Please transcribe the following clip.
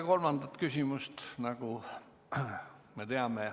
Kolmandat küsimust ei ole, nagu me teame.